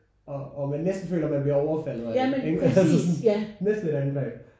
Og og man næsten føler man bliver overfaldet af det ikke? Næsten et angreb